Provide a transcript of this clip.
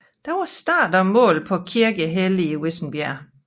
Der var start og mål på Kirkehelle i Vissenbjerg